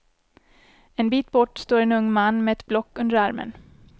En bit bort står en ung man med ett block under armen.